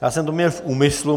Já jsem to měl v úmyslu.